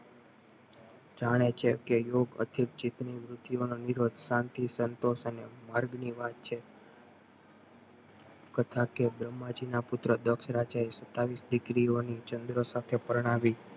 જાણે છે કે યોગ અધિક જીત ની બુદ્ધી ઓ નો વિરોધ શાંતિ, સંતોષ અને માર્ગ ની વાત છે તથા કે બ્રહ્માજીના પુત્ર દક્ષરાજ છે સતાવીશ દીએકરી ની ચંદ્ર સાથે પરણાવી